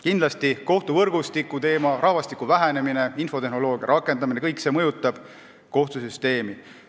Kindlasti kohtuvõrgustiku teema, rahvastiku vähenemine, infotehnoloogia rakendamine – kõik see mõjutab kohtusüsteemi.